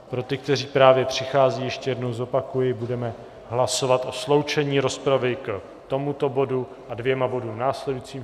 Pro ty, kteří právě přicházejí, ještě jednou zopakuji, budeme hlasovat o sloučení rozpravy k tomuto bodu a dvěma bodům následujícím.